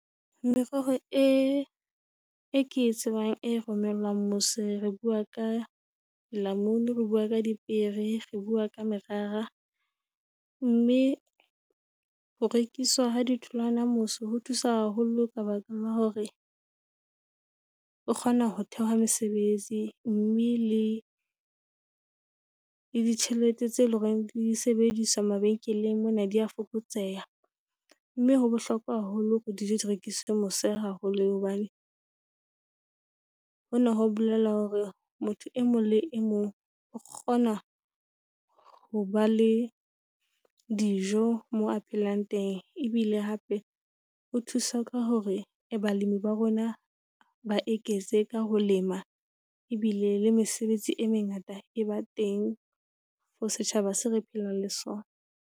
Merero e, eo ke e tsebang e romelwang mose. Re bua ka lamunu, re bua ka dipiere, re bua ka morara, mme ho rekiswa ha ditholwana mose ho thusa haholo ka baka la hore o kgona ho thehwa mesebetsi, mme le ditjhelete tse leng hore di sebediswa mabenkeleng mona di a fokotseha. Mme, ho bohlokwa haholo hore dijo di rekiswe mose haholo hobane, hona ho bolela hore motho e mong le e mong o kgona ho ba le dijo moo a phelang teng. Ebile hape o thusa ka hore balemi ba rona ba eketse ka ho lema ebile le mesebetsi e mengata e ba teng for setjhaba seo re phelang le sona.